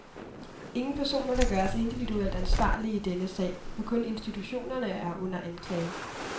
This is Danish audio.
Ingen personer kan gøres individuelt ansvarlige i denne sag, hvor kun institutionerne er under anklage.